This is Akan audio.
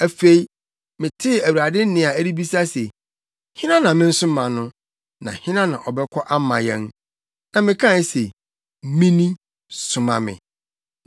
Afei, metee Awurade nne a ɛrebisa se, “Hena na mensoma no? Na hena na ɔbɛkɔ ama yɛn?” Na mekae se, “Mini. Soma me!”